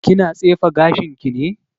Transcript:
Kina tsefe gashin ki ne?